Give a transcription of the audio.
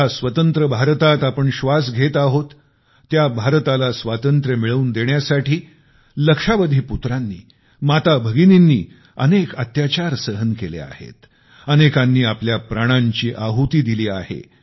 ज्या स्वतंत्र भारतात आपण श्वास घेत आहोत त्या भारताला स्वातंत्र्य मिळवून देण्यासाठी लक्ष्यावधी पुत्रांनी माताभगिनींनी अनेक अत्याचार सहन केले आहेत अनेकांनी आपल्या प्राणांची आहुती दिली आहे